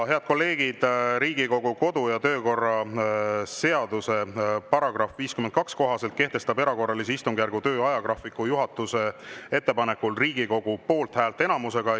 Head kolleegid, Riigikogu kodu‑ ja töökorra seaduse § 52 kohaselt kehtestab erakorralise istungjärgu töö ajagraafiku juhatuse ettepanekul Riigikogu poolthäälte enamusega.